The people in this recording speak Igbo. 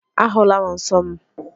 Ahụla m nsọ m